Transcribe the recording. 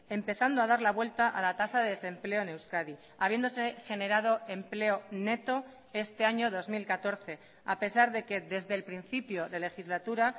empezando a dar la vuelta a la tasa de desempleo en euskadi habiéndose generado empleo neto este año dos mil catorce a pesar de que desde el principio de legislatura